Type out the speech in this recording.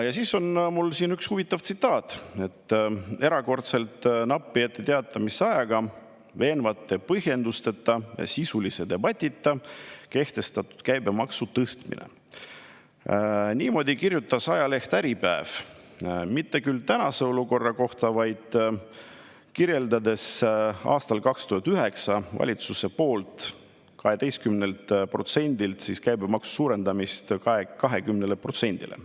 Ja siis on mul siin üks huvitav tsitaat: "Erakordselt napi etteteatamisajaga, veenvate põhjendusteta ja sisulise debatita kehtestatud 18protsendise käibemaksu tõstmine " Niimoodi kirjutas ajaleht Äripäev, mitte küll tänase olukorra kohta, vaid kirjeldades seda, kuidas valitsus aastal 2009 suurendas käibemaksu 18%-lt 20%-le.